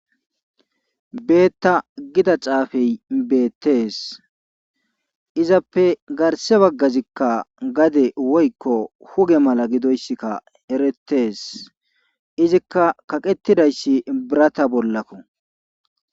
Beeta giza xaafe beetes. izappe garse bagazikka gade woykko huge mala gidoysikka eretees. izikka kaqetidayssi birata bolakko.